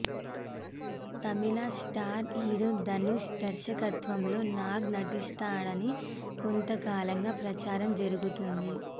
తమిళ star hero Dhanush దర్శకత్వంలో నాగ్ నటిస్తాడని కొంత కాలంగా ప్రచారం జరుగుతోంది